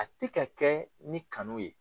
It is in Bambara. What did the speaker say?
A tɛ ka kɛ ni kanu ye.